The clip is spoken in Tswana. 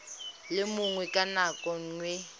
le mongwe ka nako nngwe